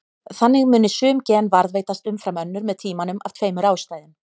Þannig muni sum gen varðveitast umfram önnur með tímanum af tveimur ástæðum.